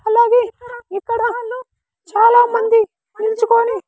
అలాగే ఇక్కడ చాల మంది నిల్చుకొని.